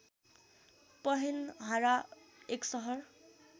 पहेनहारा एक सहर